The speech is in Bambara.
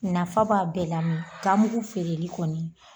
Nafa b'a bɛɛ la ganmuru feereli kɔni